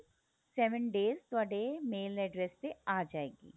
seven days ਤੁਹਾਡੇ mail address ਤੇ ਆ ਜਾਏਗੀ